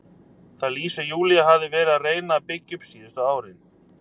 Það líf sem Júlía hafði verið að reyna að byggja upp síðustu árin.